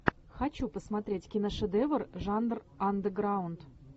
хочу посмотреть киношедевр жанр андеграунд